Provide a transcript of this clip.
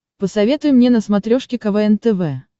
посоветуй мне на смотрешке квн тв